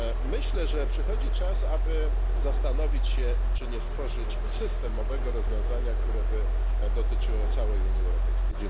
Myślę, że przychodzi czas, aby zastanowić się, czy nie stworzyć systemowego rozwiązania, które by dotyczyło całej Unii Europejskiej.